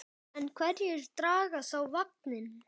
En hverjir draga þá vagninn?